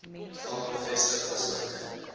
vam bevestig asook